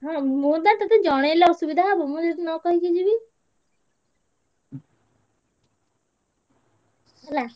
ହଁ ମୁଁ ତ ତତେ ଜଣେଇଲେ ଅସୁବିଧା ହବ ମୁଁ ଯଦି ନ କହିକି ଯିବି ହେଲା